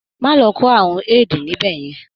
Má lọ kó àrùn AID níbẹ̀ yẹn.